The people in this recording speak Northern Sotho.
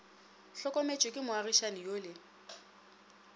hlokometšwe ke moagišani yo le